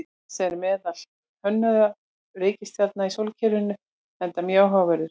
Mars er meðal mest könnuðu reikistjarna í sólkerfinu enda mjög áhugaverður.